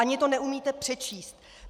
Ani to neumíte přečíst.